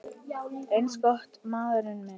Eins gott, maður minn